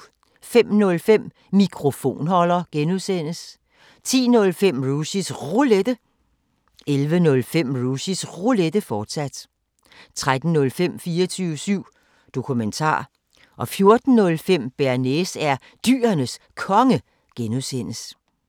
05:05: Mikrofonholder (G) 10:05: Rushys Roulette 11:05: Rushys Roulette, fortsat 13:05: 24syv Dokumentar 14:05: Bearnaise er Dyrenes Konge (G)